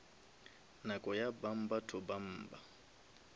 nako ya bumper to bumper